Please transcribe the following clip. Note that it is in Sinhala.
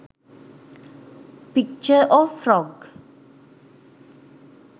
picture of frog